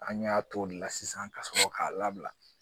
An y'a t'o de la sisan ka sɔrɔ k'a labila